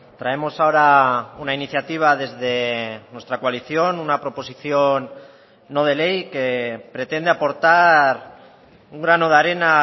traemos ahora una iniciativa desde nuestra coalición una proposición no de ley que pretende aportar un grano de arena a